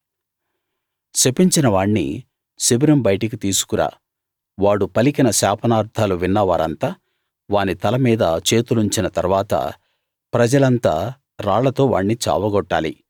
శపించిన వాణ్ణి శిబిరం బయటికి తీసుకురా వాడు పలికిన శాపనార్థాలు విన్న వారంతా వాని తల మీద చేతులుంచిన తరవాత ప్రజలంతా రాళ్లతో వాణ్ణి చావగొట్టాలి